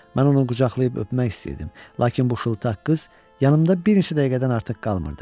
Mən onu qucaqlayıb öpmək istəyirdim, lakin bu şıltaq qız yanımda bir neçə dəqiqədən artıq qalmırdı.